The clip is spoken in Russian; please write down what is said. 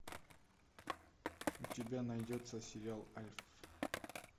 у тебя найдется сериал альф